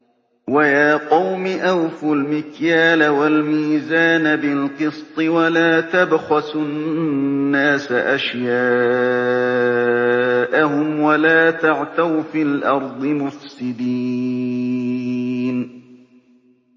وَيَا قَوْمِ أَوْفُوا الْمِكْيَالَ وَالْمِيزَانَ بِالْقِسْطِ ۖ وَلَا تَبْخَسُوا النَّاسَ أَشْيَاءَهُمْ وَلَا تَعْثَوْا فِي الْأَرْضِ مُفْسِدِينَ